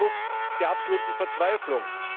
Es ist der Ausdruck der absoluten Verzweiflung.